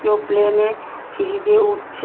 কেউ প্লেন -এ সিঁড়ি দিয়ে উঠছে।